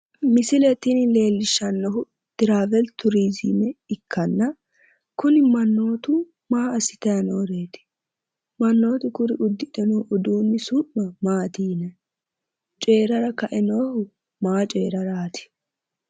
misile tini leellishshannohu traaweli turizime ikkanna kuni mannootu maa assitanni nooreeti? mannootu kuri uddidhe noo uduunni su'ma maati yinanni? coyiirara kae noohu maa coyiiraraati?